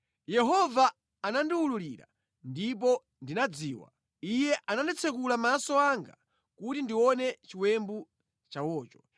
Yehova anandiwululira ndipo ndinadziwa. Iye anatsekula maso anga kuti ndione chiwembu chawocho.